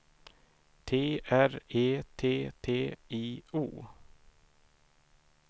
T R E T T I O